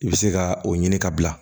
I bɛ se ka o ɲini ka bila